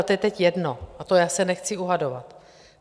Ale to je teď jedno, o tom já se nechci dohadovat.